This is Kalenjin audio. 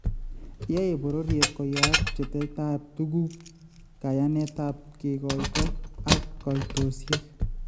Yaeebororyeet koyaak pcheitaiyeetaab tukuk, kayaneet ap kegoito, ak kaitosiek